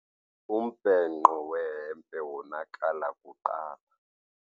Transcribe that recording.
Umbhenqo wehempe wonakala kuqala.